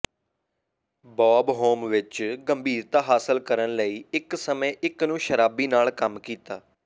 Bob Hope ਵਿੱਚ ਗੰਭੀਰਤਾ ਹਾਸਲ ਕਰਨ ਲਈ ਇੱਕ ਸਮੇਂ ਇੱਕ ਨੂੰ ਸ਼ਰਾਬੀ ਨਾਲ ਕੰਮ ਕੀਤਾ